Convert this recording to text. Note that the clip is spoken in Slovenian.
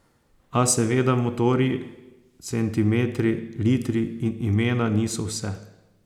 A seveda motorji, centimetri, litri in imena niso vse.